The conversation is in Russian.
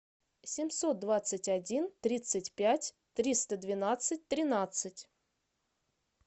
семьсот двадцать один тридцать пять триста двенадцать тринадцать